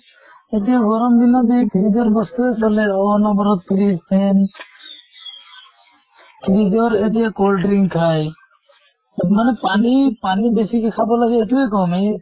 এতিয়া তʼ এতিয়া গৰম দিনত এই fridge ৰ বস্তুয়ে চলে। অনʼবৰত fridge, fan fridge ৰ এতিয়া cold drinks খায়। মানে পানী পানী বেছিকে খাব লাগে সেইটোয়ে কম এ